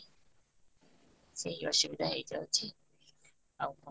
ସେଇ ଅସୁବିଧା ହେଇ ଯାଉଛି, ଆଉ କ'ଣ?